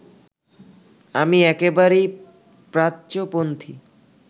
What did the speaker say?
আমি একেবারেই প্রাচ্যপন্থী